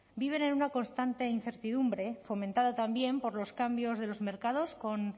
viven en una constante incertidumbre fomentada también por los cambios de los mercados con